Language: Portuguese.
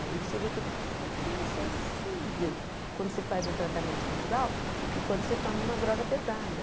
E aí você vê que é muito mais sensível quando você faz um tratamento natural do que quando você toma uma droga pesada.